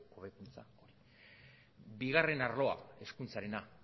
hobekuntza bigarren arloa hezkuntzarena